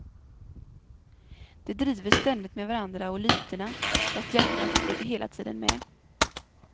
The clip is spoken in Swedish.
De driver ständigt med varandra och lytena, fast hjärtat är hela tiden med.